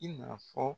I na fɔ